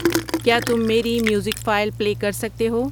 کیا تم میری میوزک فائل پلے کر سکتے ہو؟